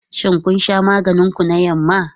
Shin kun sha maganin ku na yamma?